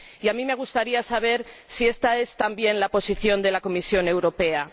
Y a mí me gustaría saber si esta es también la posición de la Comisión Europea.